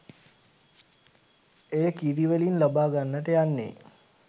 එය කිරි වලින් ලබා ගන්නට යන්නේ